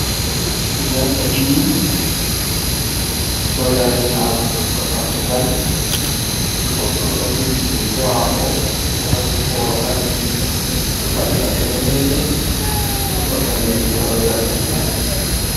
Jarka ɗiɗi ɗo dari ha hunduko dammugal goɗɗo ɗo jogi keke maako ɗo vakki booro ɓaleje ɗo fadi paɗe daneje ɗo ɓorni riga kolo zargina.